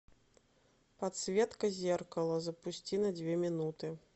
подсветка зеркала запусти на две минуты